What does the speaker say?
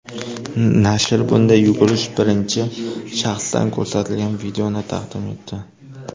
Nashr bunday yugurish birinchi shaxsdan ko‘rsatilgan videoni taqdim etdi.